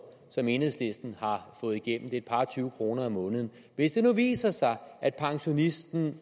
som enhedslisten har fået igennem det et par og tyve kroner om måneden hvis det nu viser sig at pensionisten